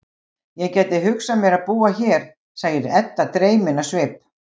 Ég gæti hugsað mér að búa hér, segir Edda dreymin á svip.